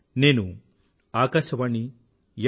నేను ఆకాశవాణి ఎఫ్